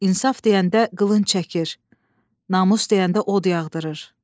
İnsaf deyəndə qılınc çəkir, namus deyəndə od yağdırır.